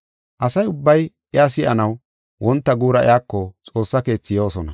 Asa ubbay iya si7anaw wonta guura iyako Xoossaa Keethi yoosona.